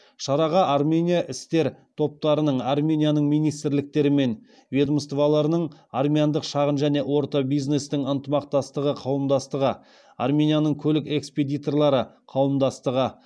шараға армения іскер топтарының арменияның министрліктері мен ведомстволарының армяндық шағын және орта бизнестің ынтымақтастығы қауымдастығы арменияның көлік экспедиторлары қауымдастығы